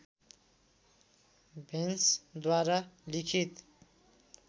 भेन्सद्वारा लिखित